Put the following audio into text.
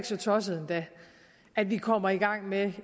så tosset endda at vi kommer i gang med